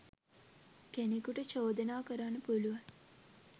කෙනෙකුට චෝදනා කරන්න පුළුවන්.